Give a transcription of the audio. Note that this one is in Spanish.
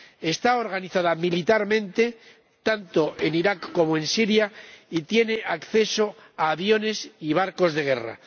Está organizado militarmente tanto en Irak como en Siria y tiene acceso a aviones y barcos de guerra.